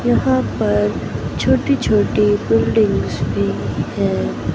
यहां पर छोटी छोटी बिल्डिंग्स भी है।